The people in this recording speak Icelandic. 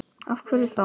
Af hverju þá?